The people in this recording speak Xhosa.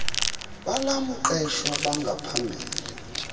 bal mqeshwa bangaphambili